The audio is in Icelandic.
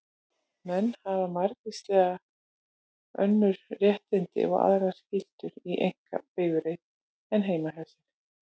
Menn hafa margvísleg önnur réttindi og aðrar skyldur í einkabifreið en heima hjá sér.